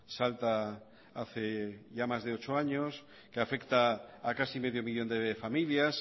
salta hace ya más de ocho años que afecta a casi medio millón de familias